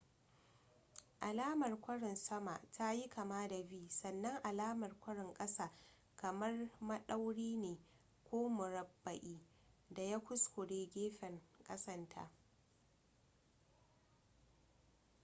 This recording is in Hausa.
alamar kwarin sama ta yi kama da v sannan alamar kwarin ƙasa kamar maɗauri ne ko murabba'i da ya kuskure gefen ƙasan ta